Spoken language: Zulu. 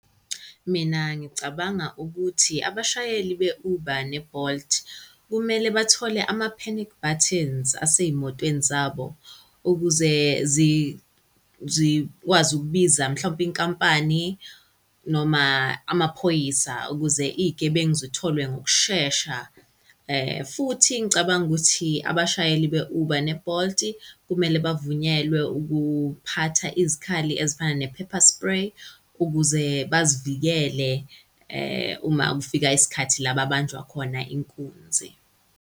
Mina ngicabanga ukuthi abashayeli be-Uber ne-Bolt kumele bathole ama-panic buttons asey'motweni zabo ukuze zikwazi ukubiza mhlawumpe inkampani noma amaphoyisa ukuze iy'gebengu zitholwe ngokushesha. Futhi ngicabanga ukuthi abashayeli be-Uber ne-Bolt-i kumele bavunyelwe ukuphatha izikhali ezifana ne-pepper spray ukuze bazivikele uma kufika isikhathi la babanjwa khona inkunzi.